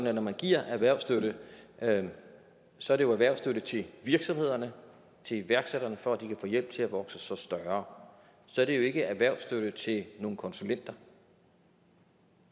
at når man giver erhvervsstøtte så er det jo erhvervsstøtte til virksomhederne til iværksætterne for at de kan få hjælp til at vokse sig større så er det ikke erhvervsstøtte til nogle konsulenter